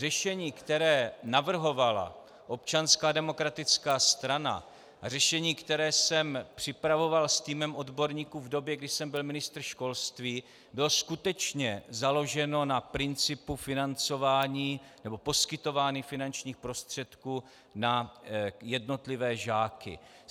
Řešení, které navrhovala Občanská demokratická strana, a řešení, které jsem připravoval s týmem odborníků v době, kdy jsem byl ministr školství, bylo skutečně založeno na principu financování, nebo poskytování finančních prostředků na jednotlivé žáky.